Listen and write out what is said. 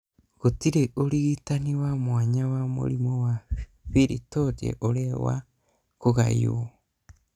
Gũtirĩ ũrigitani wa mwanya wa mũrimũ wa pili torti ũrĩa wa kũgayũo.